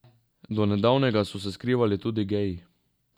Do nedavnega so se skrivali tudi geji.